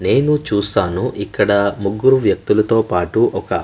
నేను చూసాను ఇక్కడ ముగ్గురు వ్యక్తులు తో పాటు ఒక--